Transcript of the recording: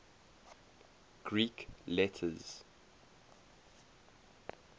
greek letters